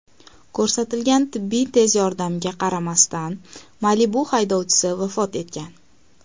Ko‘rsatilgan tibbiy tez yordamga qaramasdan "Malibu" haydovchisi vafot etgan.